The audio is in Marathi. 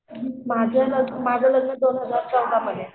माझं माझं लग्न दोन हजार चौदामध्ये